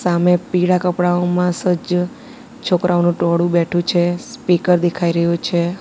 સામે પીળા કપડાંઓમાં સજ્જ છોકરાઓનું ટોળું બેઠું છે સ્પીકર દેખાઈ રહ્યુ છે.